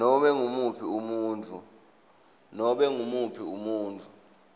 nobe ngumuphi umuntfu